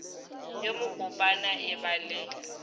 yo mokopana e ba le